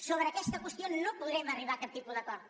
sobre aquesta qüestió no podrem arribar a cap tipus d’acord